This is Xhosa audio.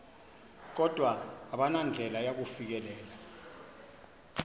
kodwa abanandlela yakufikelela